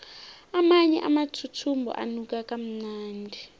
amanye amathuthumbo anuka kamnandi